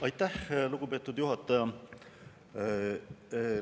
Aitäh, lugupeetud juhataja!